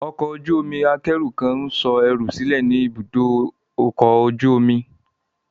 Ọkọ̀ ojú omi akẹ́rù kan ń sọ ẹrù rẹ̀ sílẹ̀ ní ibùdó ọkọ̀ ojú omi.